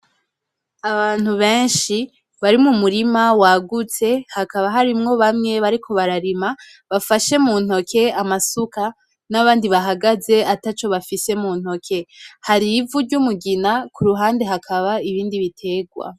Abantu benshi bari mumurima wagutse hakaba harimwo bamwe bariko bararima bafashe mu ntoke amasuka, n'abandi bahagaze ataco bafise mu ntoke hari ivu ry'umugina, kuruhande hakaba ibindi bitegwa.